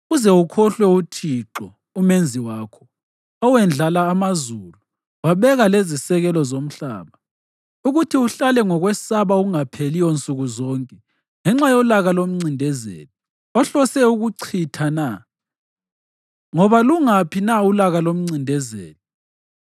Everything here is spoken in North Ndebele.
uze ukhohlwe uThixo, uMenzi wakho, owendlala amazulu wabeka lezisekelo zomhlaba, ukuthi uhlale ngokwesaba okungapheliyo nsuku zonke ngenxa yolaka lomncindezeli, ohlose ukuchitha na? Ngoba lungaphi na ulaka lomncindezeli?